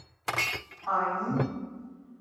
ани